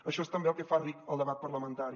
això és també el que fa ric el debat parlamentari